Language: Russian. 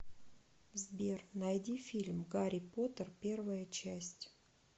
сбер найди фильм гари потер первая часть